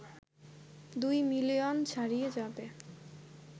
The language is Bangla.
২ বিলিয়ন ছাড়িয়ে যাবে